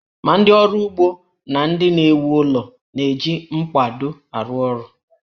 Ma ndị ọrụ ugbo na ndị na-ewu ụlọ na-eji mkpado arụ ọrụ